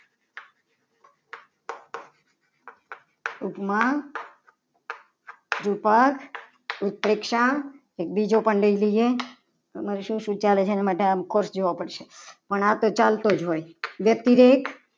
ઉપમાન રૂપક ઉત્પ્રેક્ષા એક બીજો પણ લઈ લઈએ તમારે શું આવે છે. એને માટે મારે કોર્સ જોવો પડશે. પણ આ તો આવતો જ હોય. વ્યક્તિ દીઠ